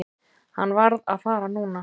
Hann varð að fara núna.